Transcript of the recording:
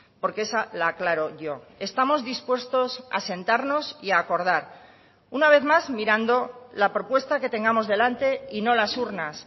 porque esa la aclaro yo estamos dispuestos a sentarnos y a acordar una vez más mirando la propuesta que tengamos delante y no las urnas